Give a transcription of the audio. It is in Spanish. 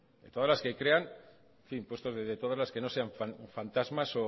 de todas las que crean en fin de todas las que no sean fantasmas